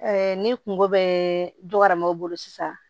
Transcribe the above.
ni kungo bɛ dɔgɔya o bolo sisan